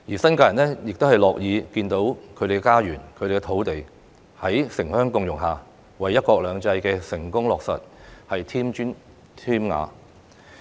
新界人亦樂見他們的家園和土地在城鄉共融下，為"一國兩制"的成功落實添磚添瓦。